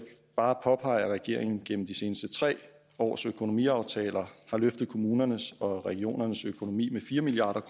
bare påpege at regeringen gennem de seneste tre års økonomiaftaler har løftet kommunernes og regionernes økonomi med fire milliard